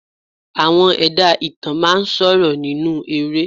Àwọn ẹ̀dá ìtàn máa ń sọ̀rọ̀ nínú eré